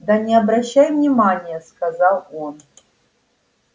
да не обращай внимание сказал он